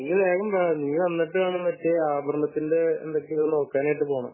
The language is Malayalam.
നീ വേഗം വാ നീ വന്നിട്ട് വേണം മറ്റേ ആഭരണത്തിന്റെ മറ്റു എന്തൊക്കെയോ നോക്കാനായിട്ട് പോണം